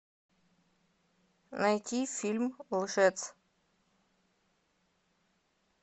найти фильм лжец